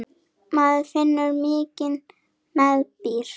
Maður finnur mikinn meðbyr.